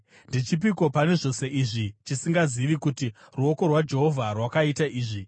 Ndechipiko pane zvose izvi chisingazivi kuti ruoko rwaJehovha rwakaita izvi?